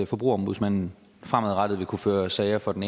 forbrugerombudsmanden fremadrettet vil kunne føre sager for den